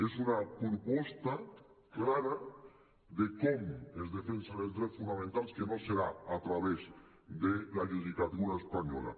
és una proposta clara de com es defensen els drets fonamentals que no serà a través de la judicatura espanyola